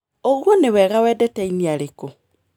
ũgui nĩ wega wendete aini arĩkũ?